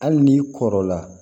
Hali n'i kɔrɔla